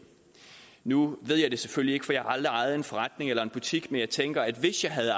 nu ved jeg det selvfølgelig ikke for jeg har aldrig ejet en forretning eller en butik men jeg tænker at hvis jeg havde